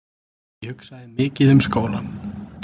Ég hugsaði mikið um skólann.